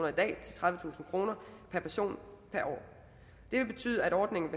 i dag til tredivetusind kroner per person per år det vil betyde at ordningen